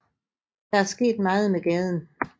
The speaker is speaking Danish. Der er sket meget med gaden